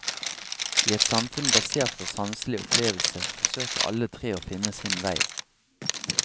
I et samfunn basert på sanselig opplevelse, forsøker alle tre å finne sin vei.